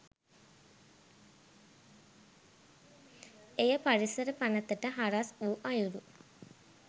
එය පරිසර පනතට හරස් වූ අයුරු